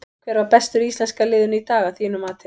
Hver var bestur í íslenska liðinu í dag að þínu mati?